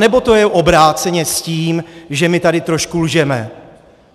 Anebo to je obráceně s tím, že my tady trošku lžeme?